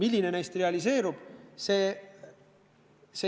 Milline neist realiseerub?